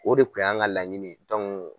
O de kun ye an ka laɲini ye